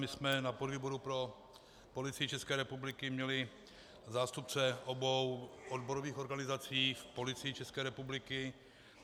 My jsme na podvýboru pro Policii České republiky měli zástupce obou odborových organizací v Policii České republiky.